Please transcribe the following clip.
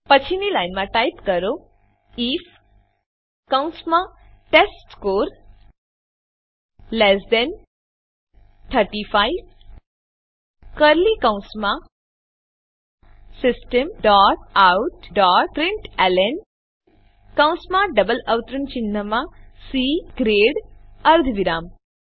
પછીની લાઈનમાં ટાઈપ કરો આઇએફ કૌંસમાં ટેસ્ટસ્કોર લેસ ધેન 35 કર્લી કૌંસમાં system dot out dot println કૌંસમાં ડબલ અવતરણ ચિહ્નમાં સી ગ્રેડ અર્ધવિરામ